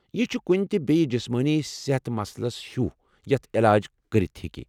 یہِ چُھ کُنٛہ تہِ بییہِ جِسمٲنی صحت مسلس ہِیوٚو یتھ علاج كٔرِتھ ہیكہِ۔